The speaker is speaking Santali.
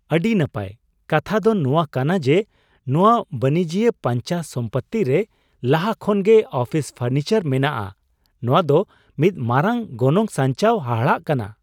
ᱟᱹᱰᱤ ᱱᱟᱯᱟᱭ! ᱠᱟᱛᱷᱟ ᱫᱚ ᱱᱚᱣᱟ ᱠᱟᱟᱱ ᱡᱮ ᱱᱚᱶᱟ ᱵᱟᱹᱱᱤᱡᱤᱭᱟᱹ ᱯᱟᱧᱪᱟ ᱥᱚᱢᱯᱩᱛᱤ ᱨᱮ ᱞᱟᱦᱟ ᱠᱷᱚᱱ ᱜᱮ ᱚᱯᱷᱤᱥ ᱯᱷᱚᱨᱱᱤᱪᱟᱨ ᱢᱮᱱᱟᱜ ᱟ, ᱱᱚᱶᱟ ᱫᱚ ᱢᱤᱫ ᱢᱟᱨᱟᱝ ᱜᱚᱱᱚᱝ ᱥᱟᱧᱪᱟᱣ ᱦᱟᱦᱟᱲᱟᱜ ᱠᱟᱱᱟ ᱾